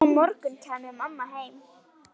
Á morgun kæmi mamma heim.